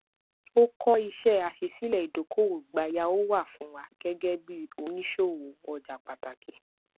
ó kó iṣẹ aṣísílẹ ìdókòwò gbayau wá fún wa gẹgẹ bí oníṣòwò ọjà pàtàkì